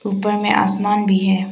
ऊपर में आसमान भी है।